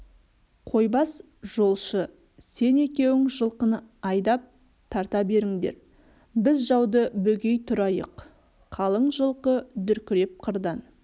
қойбас жолшы сен екеуің жылқыны айдап тарта беріңдер біз жауды бөгей тұрайық қалың жылқы дүркіреп қырдан